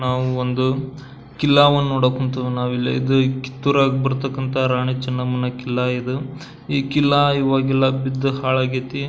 ನಾವು ಒಂದು ಕಿಲ್ಲವು ನೋಡಕ್ ಹೊಂತಿವಿ ನಾವಿಲ್ಲಿ ಇದು ಕಿತ್ತೂರಗ್ ಬರ್ತಕ್ಕಂತಹ ರಾಣಿ ಚೆನ್ನಮ್ಮನ ಕಿಲ್ಲ ಇದು ಈ ಕಿಲ್ಲ ಇವಾಗೆಲ್ಲ ಬಿದ್ದು ಹಳಗೈತಿ.